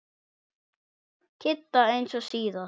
Kidda eins og síðast.